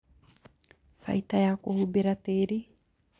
Baita ya kũhumbĩra tĩri